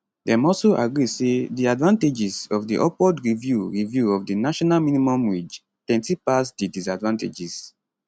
dem also agree say di advantages of di upward review review of di national minimum wage plenty pass di disadvantages